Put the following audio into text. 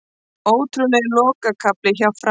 Ótrúlegur lokakafli hjá Fram